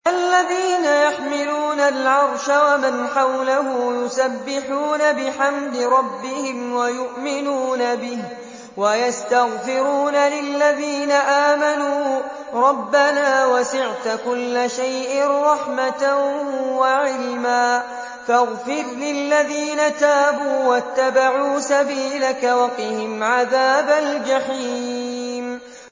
الَّذِينَ يَحْمِلُونَ الْعَرْشَ وَمَنْ حَوْلَهُ يُسَبِّحُونَ بِحَمْدِ رَبِّهِمْ وَيُؤْمِنُونَ بِهِ وَيَسْتَغْفِرُونَ لِلَّذِينَ آمَنُوا رَبَّنَا وَسِعْتَ كُلَّ شَيْءٍ رَّحْمَةً وَعِلْمًا فَاغْفِرْ لِلَّذِينَ تَابُوا وَاتَّبَعُوا سَبِيلَكَ وَقِهِمْ عَذَابَ الْجَحِيمِ